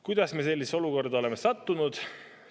Kuidas me sellisesse olukorda oleme sattunud?